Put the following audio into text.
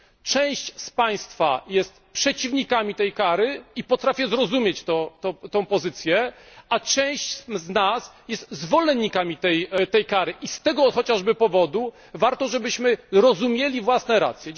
Część z Państwa jest przeciwnikami tej kary, i potrafię zrozumieć tę pozycję, a część z nas jest zwolennikami tej kary, i z tego chociażby powodu warto, żebyśmy rozumieli własne racje.